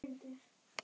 Við gáfum út bók.